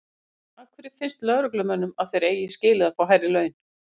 Hödd: Af hverju finnst lögreglumönnum að þeir eigi skilið að fá hærri laun?